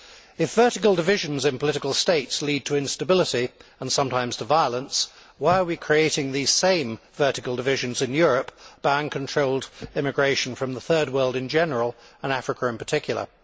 If vertical divisions in political states lead to instability, and sometimes to violence, why are we creating the same vertical divisions in Europe by uncontrolled immigration from the Third World in general, and Africa in particular?